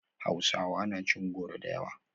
Hausawa na cin goro da yawa